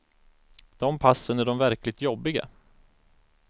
De passen är de verkligt jobbiga.